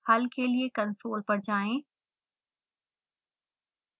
हल के लिए कंसोल पर जाएं